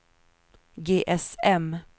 GSM